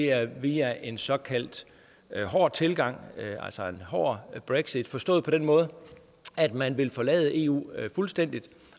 er via en såkaldt hård tilgang altså en hård brexit forstået på den måde at man vil forlade eu fuldstændig